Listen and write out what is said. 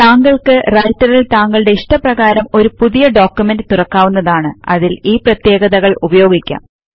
താങ്കൾക്ക് റൈറ്റർൽ താങ്കളുടെ ഇഷ്ടപ്രകാരം ഒരു പുതിയ ഡോക്യുമെന്റ് തുറക്കാവുന്നതാണ് അതിൽ ഈ പ്രത്യേകതകൾ ഉപയോഗിക്കാം